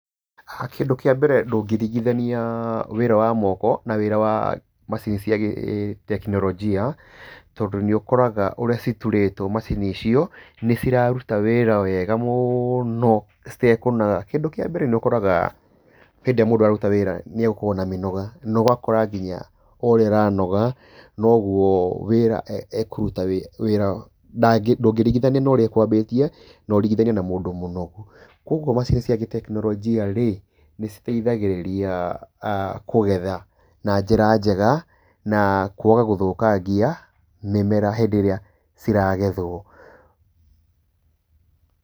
Kĩndũ kĩa mbere ndũngĩringĩthania wĩra wa moko na wĩra wa macini cia gĩ gĩ- tekinoronjia tondũ nĩũkoraga ũrĩa citurĩtwo macini icio, nĩciraruta wĩra wega mũno citekũnoga. Kĩndũ kĩambere nĩũkoraga hĩndĩ ĩrĩa mũndũ araruta wĩra, nĩegũkorwo na mĩnoga, na ũgakora nginya oũrĩa aranoga noguo wĩra e e ekũruta wĩ wĩra, ndangĩ ndũngĩringithania na ũrĩa ekwambĩtie na ũringĩthanie na mũndũ mũnogu. Kwoguo macini cia gĩ- tekinoronjia niciteithagĩrĩria kũgetha na njĩra njega, na kwaga gũthũkangia mĩmera hĩndĩ ĩrĩa ciragethwo.